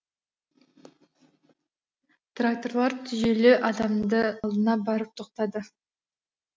тракторлар түйелі адамның алдына барып тоқтады